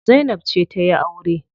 Zainab ce za tayi aure.